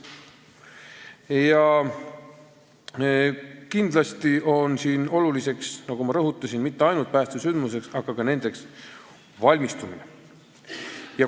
Ja kindlasti ei ole siin olulised, nagu ma rõhutasin, mitte ainult päästesündmused, vaid ka nendeks valmistumine.